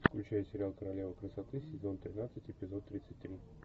включай сериал королева красоты сезон тринадцать эпизод тридцать три